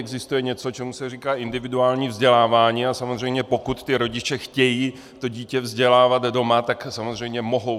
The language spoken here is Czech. Existuje něco, čemu se říká individuální vzdělávání, a samozřejmě pokud ti rodiče chtějí to dítě vzdělávat doma, tak samozřejmě mohou.